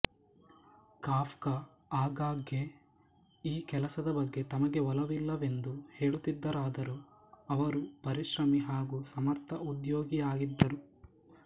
Kafka ಆಗಾಗ್ಗೆ ಈ ಕೆಲಸದ ಬಗ್ಗೆ ತಮಗೆ ಒಲವಿಲ್ಲವೆಂದು ಹೇಳುತ್ತಿದ್ದರಾದರೂ ಅವರು ಪರಿಶ್ರಮಿ ಹಾಗೂ ಸಮರ್ಥ ಉದ್ಯೋಗಿಯಾಗಿದ್ದರು